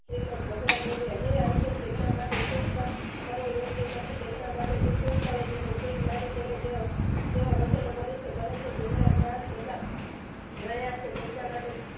શ્રીમદ ભગવાન બોલ્યા હે અર્જુન જેમના માટે સુખ કર કરો યોગ્ય નથી તેમના માટે તું સુખ કરે છે અને જે જ્ઞાની જેનો જેવા વચનો બોલે છે પરંતુ જેમના પ્રાણ જતા હણાયા છે તેમના માટે